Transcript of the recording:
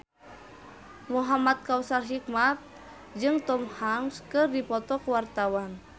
Muhamad Kautsar Hikmat jeung Tom Hanks keur dipoto ku wartawan